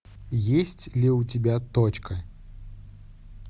есть ли у тебя точка